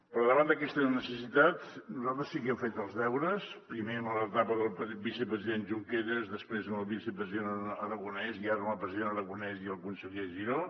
però davant d’aquesta necessitat nosaltres sí que hem fet els deures primer en l’etapa del vicepresident junqueras després amb el vicepresident aragonès i ara amb el president aragonès i el conseller giró